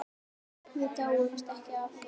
Við dáumst ekki að